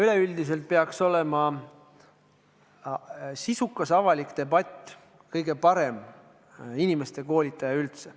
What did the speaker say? Üleüldiselt peaks sisukas avalik debatt olema kõige parem inimeste koolitaja üldse.